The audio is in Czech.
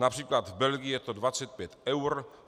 Například v Belgii je to 25 eur.